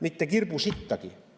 Mitte kirbu sittagi.